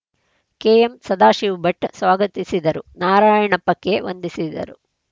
KM Sadashiva Bhat ಸ್ವಾಗತಿಸಿದರು Narayanappa K ವಂದಿಸಿದರು